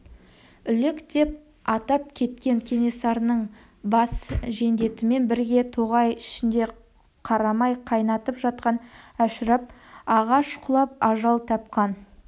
үлек деп атап кеткен кенесарының бас жендетімен бірге тоғай ішінде қарамай қайнатып жатқан әшірап ағаш құлап ажал тапқан